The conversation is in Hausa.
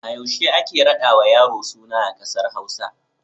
A yaushe ake raɗawa yaro suna a ƙasar Hausa?